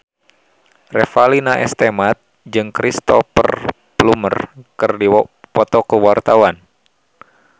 Revalina S. Temat jeung Cristhoper Plumer keur dipoto ku wartawan